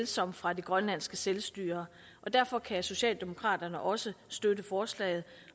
som fra det grønlandske selvstyre og derfor kan socialdemokraterne også støtte forslaget